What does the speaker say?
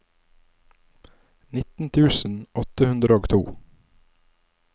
nitten tusen åtte hundre og to